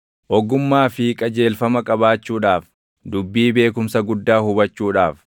Ogummaa fi qajeelfama qabaachuudhaaf, dubbii beekumsa guddaa hubachuudhaaf;